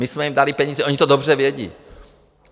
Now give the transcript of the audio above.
My jsme jim dali peníze, oni to dobře vědí.